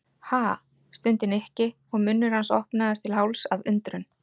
Ha? stundi Nikki og munnur hans opnaðist til hálfs af undrun.